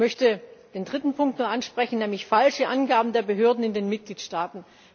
Ich möchte den dritten Punkt noch ansprechen, nämlich falsche Angaben der Behörden in den Mitgliedstaaten.